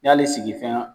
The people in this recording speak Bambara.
N'ale sigi fɛn